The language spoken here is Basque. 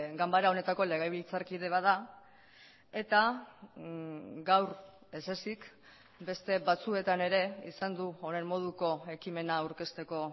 ganbara honetako legebiltzarkide bat da eta gaur ez ezik beste batzuetan ere izan du honen moduko ekimena aurkezteko